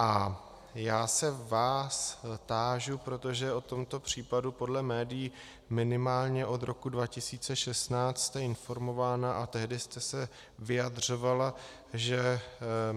A já se vás tážu, protože o tomto případu podle médií minimálně od roku 2016 jste informována a tehdy jste se vyjadřovala, že